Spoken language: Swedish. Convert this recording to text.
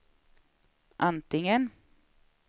antingen